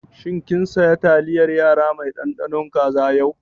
Shin kin saya taliyar yara mai ɗanɗano kaza yau?